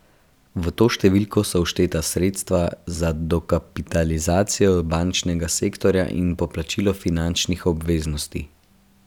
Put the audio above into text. V to številko so všteta sredstva za dokapitalizacijo bančnega sektorja in poplačilo finančnih obveznosti.